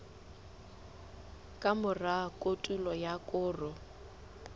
ka mora kotulo ya koro